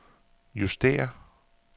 justér